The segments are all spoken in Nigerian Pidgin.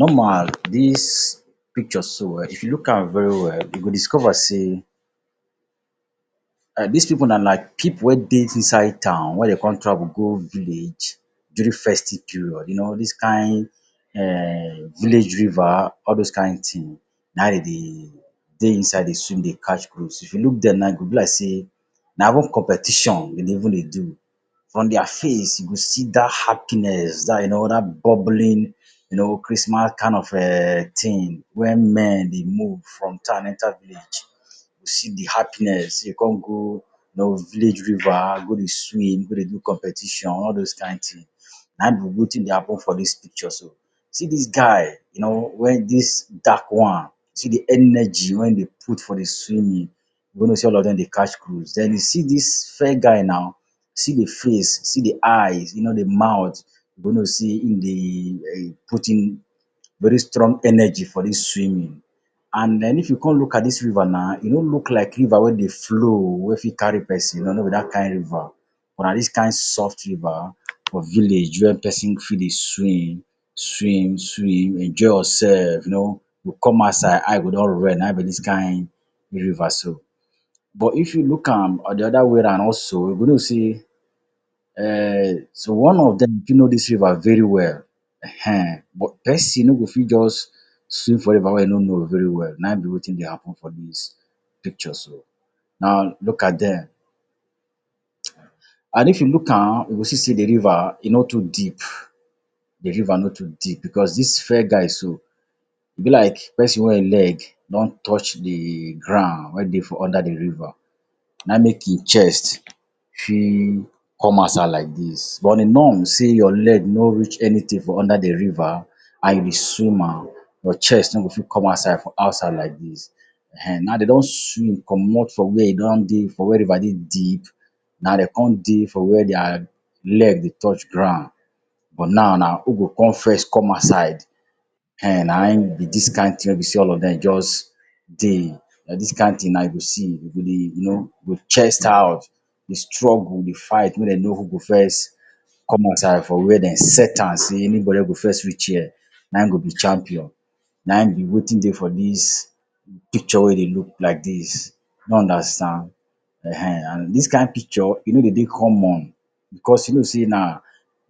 Normal dis picture so um, if you look am very well, you go discover sey dis pipu na na pipu wey dey inside town, wey dem come travel go village during festive period. You know dis kind um village river, all those kind thing na there dem dey dey inside dey swim, dey catch cruise. If you look dem now, e go be like sey na even competition dem dey even dey do. From their face, you go see that happiness, that you know, that bubbling you know, Christmas kind of um thing when men dey move from town enter village. You see de happiness. You go come go you know village river go dey swim, go dey do competition. All those kind thing na e be wetin dey happen for dis picture so. See dis guy you know wey dis dark one, see de energy wey e dey put for de swimming. You go know sey all of dem dey catch cruise. Then you see dis fair guy now, see de face, see de eyes, you know de mouth, you go know sey im dey um put in very strong energy for dis swimming. And then, if you come look at dis river na, e no look like river wey dey flow, wey fit carry person. No, no be that kind river. But, na dis kind soft river for village wey person fit dey swim, swim, swim, dey enjoy yourself you know. You go come outside, eye go don red, na be dis kind river so. But, if you look am on de other way round also, you go know sey um so one dem of fit know dis river very well. Ehen. But, person no go fit just swim for river wey e no know very well. Na be wetin dey happen for dis picture so. Now, look at dem. And if you look am, you go see sey de river e no too deep. De river no too deep because dis fair guy so, e be like person wey e leg don touch de ground wey dey for under de river. Na make im chest fit come outside like dis. But, on a norm sey your leg no reach anything for under de river, and you be swimmer, your chest no go fit come outside for outside like dis. Ehen Now, dem don swim comot from where e don dey, for where river dey deep. Now dem come dey for where their leg dey touch ground. But, now na who go come first come outside? Ehen na im be dis kind thing wey be sey all of dem just dey. Na dis kind thing na you go see. You go dey you know, you go chest out, dey struggle, dey fight, make dem know who go first come outside for where dem set am, sey anybody wey go first reach here, na go be champion. Na hin be wetin dey for dis picture wey you dey look like dis. You no understand? Ehen. And dis kind picture e no dey dey common, because you know sey na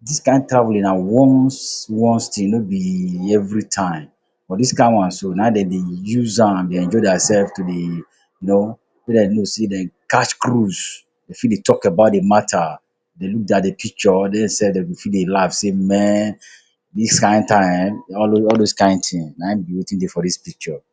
dis kind time na once once thing, no be every time. For dis kind one so na dem dey use am dey enjoy theirself to dey you know, make dem know sey dem catch cruise. Dem fit dey talk about de matter, dey look picture Dem self dem go fit dey laugh sey men, dis kind time all those kind thing na hin be wetin dey for dis picture.